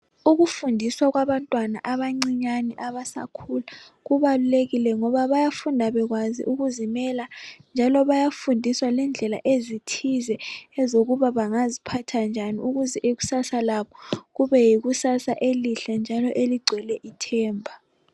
Ukufundiswa kwabantwana abancinyane abasakhula kubalulekile ngoba bayafunda bekwazi ukuzimela njalo bayafundiswa lendlela ezithize ezokuba bangaziphatha njani ukuze ikusasa labo kube yikusasa elihle njalo eligcwele ithemba.